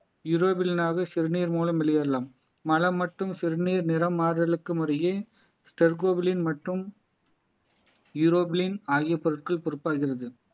சிறுநீர் மூலம் வெளியேறலாம் மலம் மட்டும் சிறுநீர் நிறம் மாறுதலுக்கும் இடையே மற்றும் ஆகிய பொருட்கள் பொறுப்பாகிறது